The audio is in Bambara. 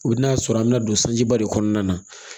I bi n'a sɔrɔ an mi na don sanjiba de kɔnɔna na